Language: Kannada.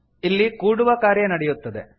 ಇಲ್ಲಿ ಕೂಡುವ ಕಾರ್ಯ ನಡೆಯುತ್ತದೆ